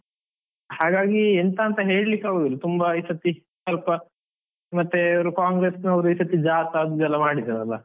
ಹಾಗಾಗಿ ಎಂತ ಅಂತ ಹೇಳಿಕ್ಕೆ ಆಗುವುದಿಲ್ಲ, ತುಂಬಾ ಈ ಸರ್ತಿ ಸ್ವಲ್ಪ ಮತ್ತೆ ಇವರು ಕಾಂಗ್ರೆಸ್ ನವರು ಈ ಸರ್ತಿ ಜಾಥಾ ಅದು ಇದು ಎಲ್ಲ ಮಾಡಿದ್ದರಲ್ಲ.